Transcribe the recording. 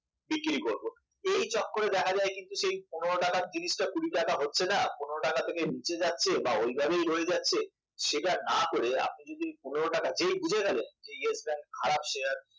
আমি বিক্রি করব। এই চক্করে দেখা যায় কিন্তু সেই পনেরো টাকার জিনিসটা কুড়ি টাকা হচ্ছে না পনেরো টাকা থেকে নিচে যাচ্ছে বা ঐ ভাবেই রয়ে যাচ্ছে সেটা না করে আপনি যদি ওই পনেরো টাকা, যেই বুঝে গেছেন যে Yes Bank খারাপ শেয়ার